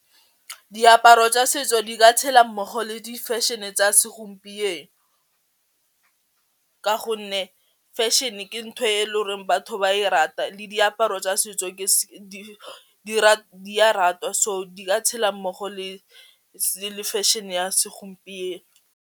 Diaparo tsa setso di ka tshela mmogo le di fashion-e tsa segompieno ka gonne fashion-e ke ntho e le goreng batho ba e rata le diaparo tsa setso di ratwa so di ka tshela mmogo le le fashion-e ya segompieno.